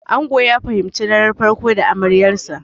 Ango ya fahimci daren farko da amaryansa.